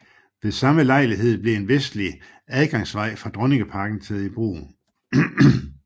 Ved samme lejlighed blev en vestlig adgangsvej fra Dronningparken taget i brug